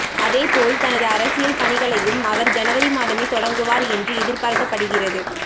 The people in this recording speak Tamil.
அதேபோல் தனது அரசியல் பணிகளையும் அவர் ஜனவரி மாதமே தொடங்குவார் என்று எதிர்பார்க்கப்படுகிறது